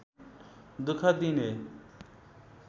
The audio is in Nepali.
दुख दिने